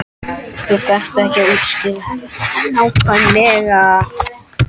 Þú þarft ekki að útskýra þetta svona nákvæmlega.